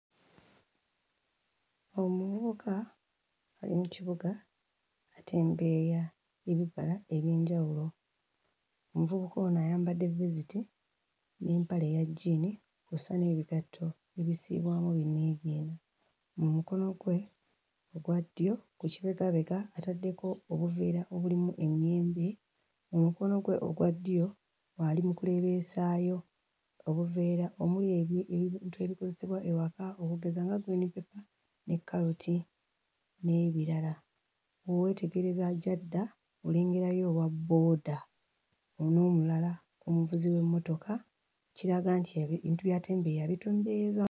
Omuvubuka ali mu kibuga atembeeya ebibala eby'enjawulo. Omuvubuka ono ayambadde vesiti n'empale eya jjiini kw'ossa n'ebigatto ebisiibwamu binniigiina. Mu mukono gwe ogwa ddyo ku kibegabega ataddeko obuveera obulimu emiyembe, mu mukono gwe ogwa ddyo ali mu kuleebeesaayo obuveera omuli ebi... ebintu ebikozesebwa ewaka okugeza nga green paper ne kkaloti n'ebirala. Bwe weetegereza gy'adda olengerayo owabooda n'omulala omuvuzi w'emmotoka, ekiraga nti ebintu by'atembeeya abitembeeyeza....